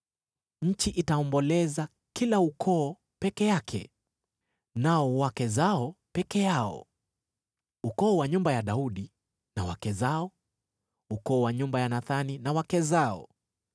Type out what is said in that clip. Nchi itaomboleza, kila ukoo peke yake, nao wake zao peke yao. Ukoo wa nyumba ya Daudi na wake zao, ukoo wa nyumba ya Nathani na wake zao,